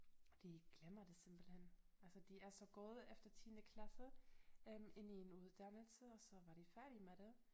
De glemmer det simpelthen altså de er så gået efter tiende klasse øh ind i en uddannelse og så var de færdige med det